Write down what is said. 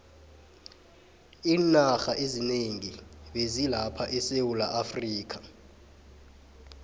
iwarha ezinengi bezi lapha esewulaafrika